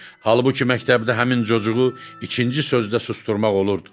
Halbuki məktəbdə həmin cocuğu ikinci sözdə susdurmaq olurdu.